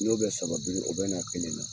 N'o bɛ saba biri, o bɛ na kelen na.